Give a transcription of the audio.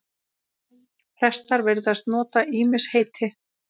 Prestar virðast nota ýmis heiti.